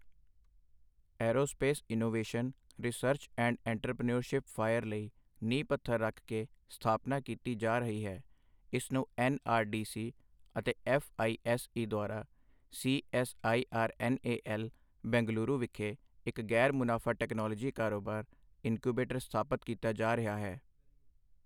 Aerospace innovation, research and entrepreneurship fire ਲਈ ਨੀਂਹ ਪੱਥਰ ਰੱਖ ਕੇ ਸਥਾਪਨਾ ਕੀਤੀ ਜਾ ਰਹੀ ਹੈ, ਇਸ ਨੂੰ ਐੱਨ ਆਰ ਡੀ ਸੀ ਅਤੇ ਐੱਫ਼ ਆਈ ਐੱਸ ਈ ਦੁਆਰਾ C S I R N A L, Bengaluru ਵਿਖੇ ਇੱਕ ਗ਼ੈਰ ਮੁਨਾਫਾ ਟੈਕਨਾਲੋਜੀ ਕਾਰੋਬਾਰ ਇਨਕੁਬੇਟਰ ਸਥਾਪਤ ਕੀਤਾ ਜਾ ਰਿਹਾ ਹੈ।